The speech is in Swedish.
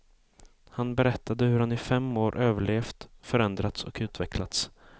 Han berättade hur han i fem år överlevt, förändrats och utvecklats.